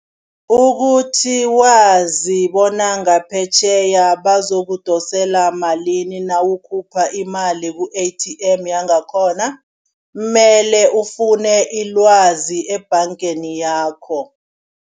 Ukuthi wazi bona ngaphetjheya bazokudosela malini nawukhupha imali ku-A_T_M yangakhona, mele ufune ilwazi ebhangeni yakho.